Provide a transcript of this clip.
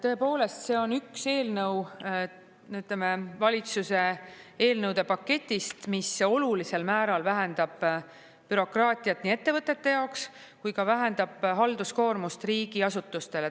Tõepoolest, see on üks eelnõu, ütleme, valitsuse eelnõude paketist, mis olulisel määral vähendab bürokraatiat nii ettevõtete jaoks kui ka vähendab halduskoormust riigiasutustele.